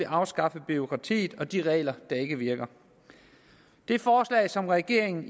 afskaffet bureaukratiet og de regler der ikke virker det forslag som regeringen